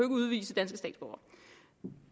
udvise danske statsborgere